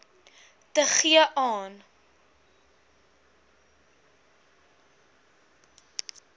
te gee aan